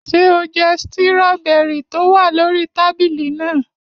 Ṣé o jẹ stíróbẹrì tó wà lórí tábìlì náà?